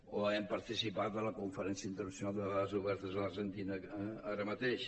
o hem participat en la conferència internacional de dades obertes a l’argentina ara mateix